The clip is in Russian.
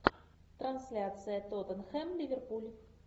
трансляция тоттенхэм ливерпуль